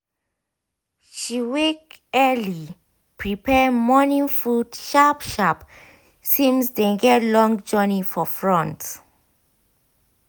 she wake early prepare mornin food sharp sharp since dey get long jourey for front